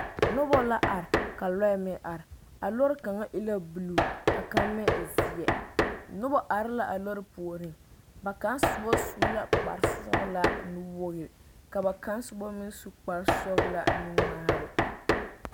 Noba la are ka lɔɛ meŋ are a lɔre kaŋa e la buluu ka kaŋ meŋ e zeɛ noba are la a lɔre puoriŋ ba kaŋ soba su la kpar sɔgelaa nu wokigri ka ba kaŋ soba meŋ su kpar sɔgelaa nu ŋmaare